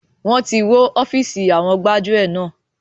Wọn tí wó ofiisi àwọn gbájúẹ̀ náà.